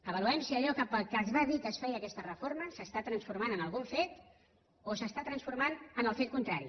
avaluem si allò pel que es va dir que es feia aquesta reforma s’està transformant en algun fet o s’està transformant en el fet contrari